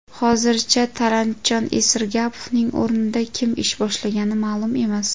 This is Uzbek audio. Hozircha Talantjon Esirgapovning o‘rnida kim ish boshlagani ma’lum emas.